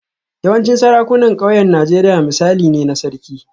Yawancin sarakunan ƙauyen Najeriya misali ne na Sarki